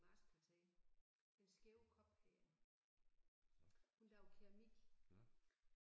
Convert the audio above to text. Marskkvarteret. Den Skæve Kop hedder den hun laver keramik